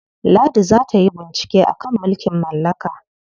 Ladi za ta yi bincike a kan mulkin mallaka.